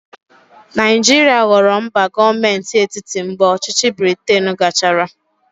Naijiria ghọrọ mba gọọmenti etiti mgbe ọchịchị Briten gachara.